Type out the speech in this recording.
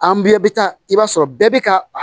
An bɛɛ bɛ taa i b'a sɔrɔ bɛɛ bɛ ka a